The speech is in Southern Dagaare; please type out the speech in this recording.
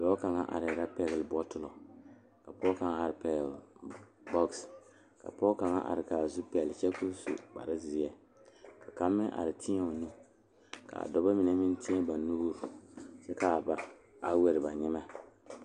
Dɔɔ kaŋa are la pegle bɔtuloŋ kaa pɔge are kaa zu waa pelaa su kpare ziɛ kaa bamine meŋ teɛ ba nuure kyɛ ba a wire ba nyɛmɛ.